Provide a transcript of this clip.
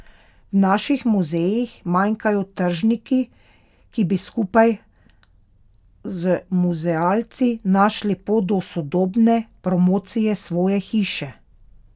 V naših muzejih manjkajo tržniki, ki bi skupaj z muzealci našli pot do sodobne promocije svoje hiše.